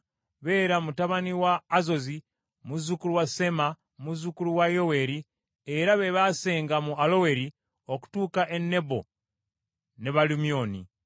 Bera mutabani wa Azozi, muzzukulu wa Sema, muzzukulu wa Yoweeri. Be baasenga mu Aloweri okutuuka e Nebo ne Baalu Myoni.